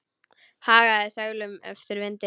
Hagaði seglum eftir vindi.